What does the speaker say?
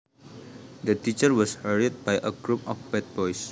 The teacher was harried by a group of bad boys